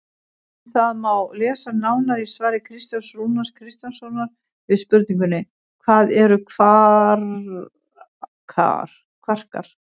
Um það má lesa nánar í svari Kristjáns Rúnars Kristjánssonar við spurningunni Hvað eru kvarkar?